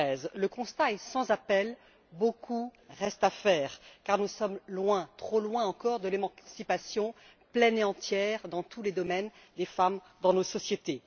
2013. Le constat est sans appel beaucoup reste à faire, car nous sommes loin, trop loin encore, de l'émancipation pleine et entière, dans tous les domaines, des femmes dans nos sociétés.